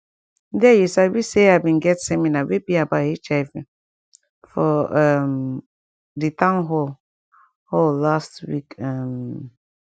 there you sabi say ah been get seminar wey be about hiv for um di town hall hall last week um